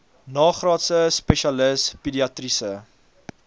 nagraadse spesialis pediatriese